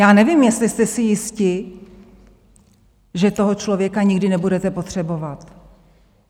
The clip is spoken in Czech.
Já nevím, jestli jste si jisti, že toho člověka nikdy nebudete potřebovat.